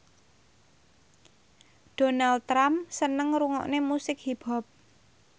Donald Trump seneng ngrungokne musik hip hop